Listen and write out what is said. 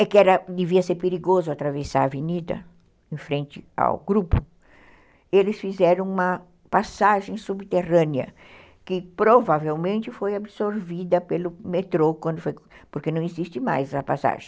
é que devia ser perigoso atravessar a avenida em frente ao grupo, eles fizeram uma passagem subterrânea, que provavelmente foi absorvida pelo metrô, quando, porque não existe mais essa passagem.